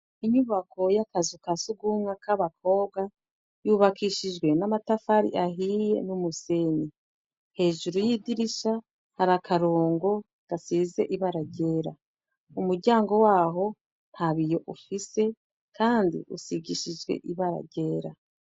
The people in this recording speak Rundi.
Inyubako y'akazu ka sugumwe k'abakobwa, yubakishijwe n'amatafari ahiye n'umusenyi, hejuru y'idirisha hari akarongo gasize ibara ryera, umuryango waho nta biyo ufise kandi usigishijwe ibara ryera.